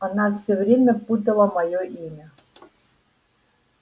она всё время путала моё имя